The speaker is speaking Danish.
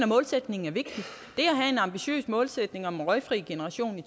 målsætningen er vigtig det at have en ambitiøs målsætning om en røgfri generation i